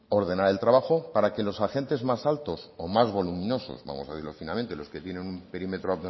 ordenar el trabajo para que los agentes más altos o más voluminosos vamos a decirlo finamente los que tienen un perímetro